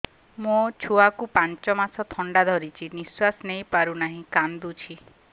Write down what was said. ମୋ ଛୁଆକୁ ପାଞ୍ଚ ମାସ ଥଣ୍ଡା ଧରିଛି ନିଶ୍ୱାସ ନେଇ ପାରୁ ନାହିଁ କାଂଦୁଛି